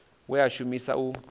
we a u shumisa u